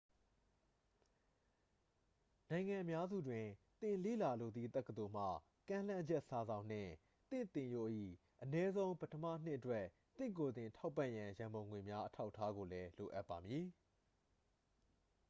နိုင်ငံအများစုတွင် သင်လေ့လာလိုသည့် တက္ကသိုလ်မှ ကမ်းလှမ်းချက်စာစောင်နှင့် သင့်သင်ရိုး၏ အနည်းဆုံး ပထမနှစ်အတွက် သင့်ကိုယ်သင် ထောက်ပံ့ရန် ရန်ပုံငွေများ အထောက်အထားကိုလည်း လိုအပ်ပါမည်